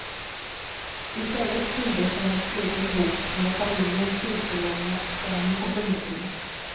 Istället fylldes hennes egen bok med familjens sekellånga skam och förnedring.